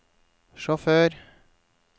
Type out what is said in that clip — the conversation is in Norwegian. sjåfør